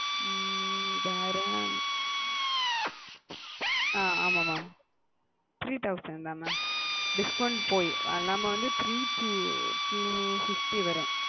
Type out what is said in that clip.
ஹம் வேற அ ஆமாம் mam three thousand தான் mam discount போய் அது இல்லாம வந்து three two two fifty வரும்